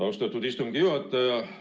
Austatud istungi juhataja!